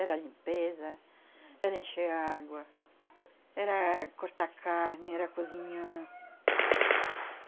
Era limpeza, era encher a água, era cortar carne, era cozinhar.